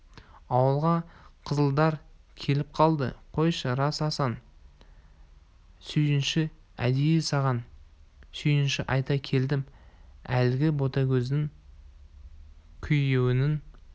ауылға қызылдар келіп қалды қойшы рас асан сүйінші әдейі саған сүйінші айта келдім әлгі ботагөздің күйеуінің